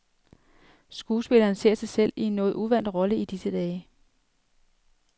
Skuespilleren ser sig selv i en noget uvant rolle i disse dage.